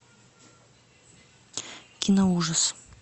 кино ужас